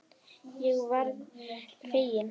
Ég varð fegin.